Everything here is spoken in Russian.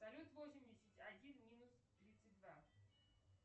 салют восемьдесят один минус тридцать два